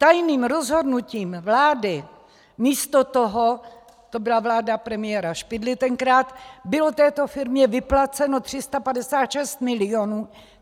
Tajným rozhodnutím vlády místo toho - to byla vláda premiéra Špidly tenkrát - bylo této firmě vyplaceno 356 milionů.